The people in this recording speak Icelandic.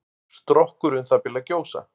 Strokkur um það bil að gjósa.